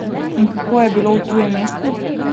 In kako je bilo v tujem mestu?